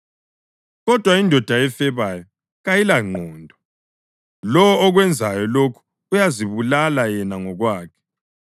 Kodwa indoda efebayo kayilangqondo; lowo okwenzayo lokho uyazibulala yena ngokwakhe.